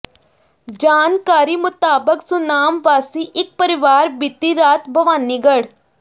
ਜਾਣਕਾਰੀ ਮੁਤਾਬਕ ਸੁਨਾਮ ਵਾਸੀ ਇਕ ਪਰਿਵਾਰ ਬੀਤੀ ਰਾਤ ਭਵਾਨੀਗੜ੍ਹ